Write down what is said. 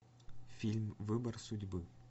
фильм выбор судьбы